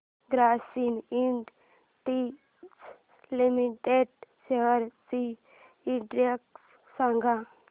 Grasim Industries Limited shares चा index सांगा